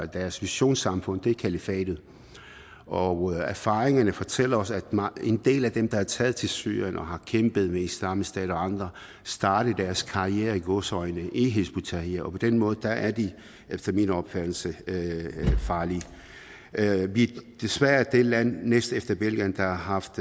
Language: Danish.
deres visionssamfund er kalifatet og erfaringerne fortæller os at en del af dem der er taget til syrien og har kæmpet med islamisk stat og andre startede deres karriere i gåseøjne i hizb ut tahrir og på den måde at de efter min opfattelse farlige vi desværre det land næstefter belgien der har haft